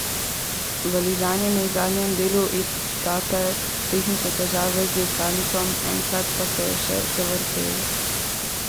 Valižan je imel v zadnjem delu etape tehnične težave z dirkalnikom, enkrat pa se je še zavrtel.